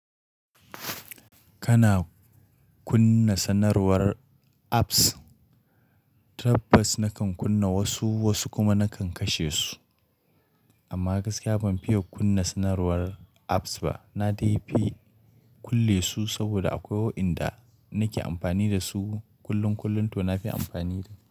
Kana kunna sanarwar apps, tabbas na kan kunna wasu, wasu kuma na kan kashe su. Amma gaskiya ban fiye kunna sanarwar apps ba. Na dai fi kulle su saboda akwai wayanda nake amfani da su kullum kullum to na fi amfani da.